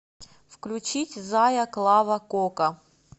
включить зая клава кока